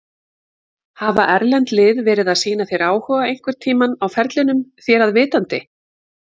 Hafa erlend lið verið að sýna þér áhuga einhverntímann á ferlinum þér að vitandi?